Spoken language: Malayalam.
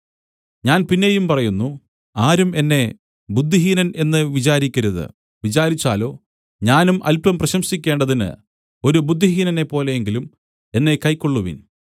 ഞാൻ പിന്നെയും പറയുന്നു ആരും എന്നെ ബുദ്ധിഹീനൻ എന്ന് വിചാരിക്കരുത് വിചാരിച്ചാലോ ഞാനും അല്പം പ്രശംസിക്കേണ്ടതിന് ഒരു ബുദ്ധിഹീനനെപ്പോലെയെങ്കിലും എന്നെ കൈക്കൊള്ളുവിൻ